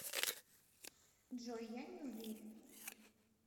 джой я не уверен